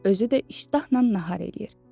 Özü də iştahla nahar eləyir.